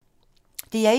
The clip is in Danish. DR1